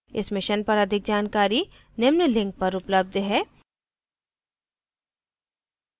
इस mission पर अधिक जानकारी निम्न लिंक पर उपलब्ध है